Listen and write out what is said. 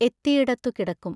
എത്തിയിടത്തു കിടക്കും.